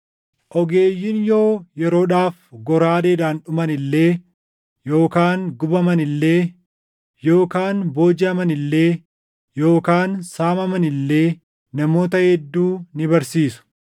“Ogeeyyiin yoo yeroodhaaf goraadeedhaan dhuman illee yookaan gubaman illee yookaan boojiʼaman illee yookaan saamaman illee namoota hedduu ni barsiisu.